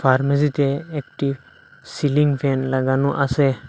ফার্মেসিতে একটি ceiling fan লাগানো আসে ।